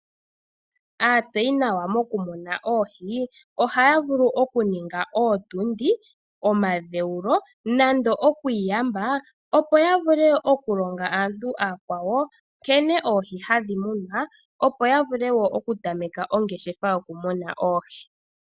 Aatseyi nawa mokumuna oohi ohaya vulu okuninga ootundi, omadheulo nando oku iyamba, opo ya vule okulonga aantu aakwawo nkene oohi hadhi munwa, opo ya vule wo okutameka ongeshefa yokumuna oohi.